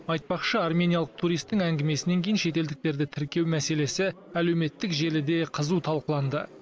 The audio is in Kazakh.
айтпақшы армениялық туристің әңгімесінен кейін шетелдіктерді тіркеу мәселесі әлеуметтік желіде қызу талқыланды